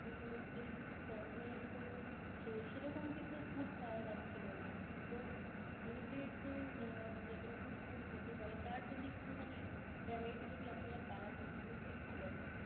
মানে vegg corner এর কোন সে~ সেরকম কিছু food পাওয়া যাচ্ছিলো না. তো vegg এর যে যত রকম food হতে পারে তার যদি একটুখানি variety যদি আপনারা বাড়াতেন তাহলে খুবই ভালো হয়.